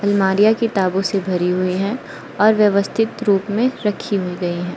अलमारियां किताबों से भरी हुई है और व्यवस्थित रूप में रखी हुई गई है।